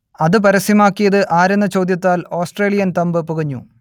അത് പരസ്യമാക്കിയത് ആരെന്ന ചോദ്യത്താൽ ഓസ്ട്രേലിയൻ തമ്പ് പുകഞ്ഞു